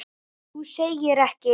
Þú segir ekki.